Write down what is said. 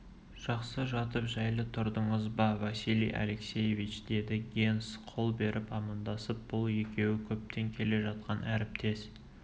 жақсы жатып жәйлі тұрдыңыз ба василий алексеевич деді генс қол беріп амандасып бұл екеуі көптен келе жатқан әріптес